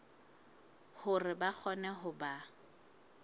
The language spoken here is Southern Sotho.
hore ba kgone ho ba